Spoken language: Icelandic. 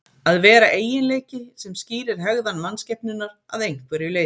Að vera eiginleiki sem skýrir hegðan mannskepnunnar að einhverju leyti.